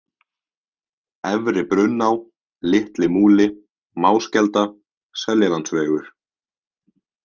Efri-Brunná, Litli-Múli, Máskelda, Seljalandsvegur